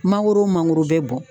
Mangoro mangoro bɛ bɔn.